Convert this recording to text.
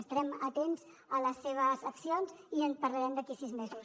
estarem atents a les seves accions i en parlarem d’aquí a sis mesos